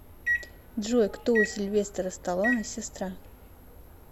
джой кто у сильвестора сталоне сестра